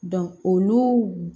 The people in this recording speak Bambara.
olu